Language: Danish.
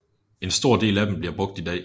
En stor del af dem bliver brugt i dag